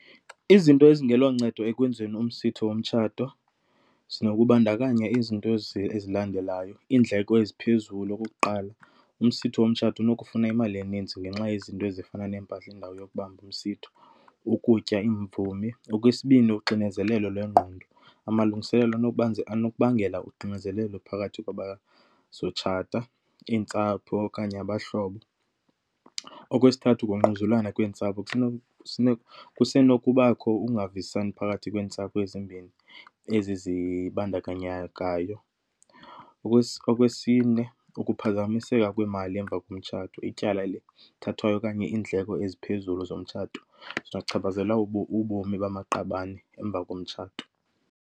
Izinto ezingeloncedo ekwenziweni umsitho womtshato zinokubandakanya izinto ezi ezilandelayo. Iindleko eziphezulu, okokuqala. Umsitho womtshato unokufuna imali eninzi ngenxa yezinto ezifana neempahla, indawo yokubamba umsitho, ukutya, iimvumi. Okwesibini, uxinezelelo lwengqondo. Amalungiselelo anokubangela uxinezelelo phakathi kwabazokutshata, iintsapho okanye abahlobo. Okwesithathu, ngungquzulwana kweentsapho. Kusenokubakho ukungavisisani phakathi kweentsapho ezimbini ezi zibandakanyekayo. Okwesine, ukuphazamiseka kwemali emva komtshato, ityala elithathwayo okanye iindleko eziphezulu zomtshato zinochaphazela ubomi bamaqabane emva komtshato.